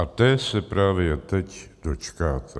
A té se právě teď dočkáte.